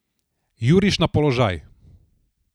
Juriš na položaj.